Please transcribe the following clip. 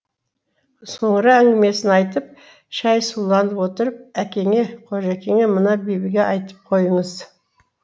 соңыра әңгімесін айтып шәй суланып отырып әкеңе қожеке мына бибіге айтып қойыңыз